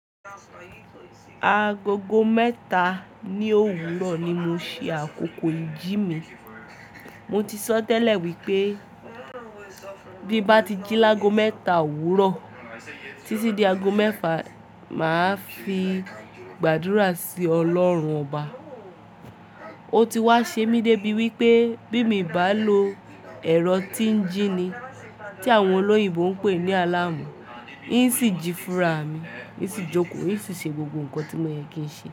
Agogo mẹ́ta ní òwúrọ̀ ni mo ṣe àkókò ìjí mi. Mo ti sọ tẹ́lẹ̀ wípé bí mo bá ti jí lágo mẹ́ta òwúrọ̀ títí di ago mẹ́fà, màá fi gbàdúrà sí Ọlọ́run ọba. Ó ti wá ṣe mí dé bí wípé bí mi bá lo ẹ̀rọ tí ń jí ni tí àwọn olóyìnbo ń pè ní alarm n ṣì jí fúnra mi, n ṣì jókòó, n ṣì ṣe gbogbo nǹkan tí mo yẹ kí n ṣe.